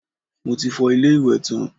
Mo ti fọ ilé-ìwẹ̀ tán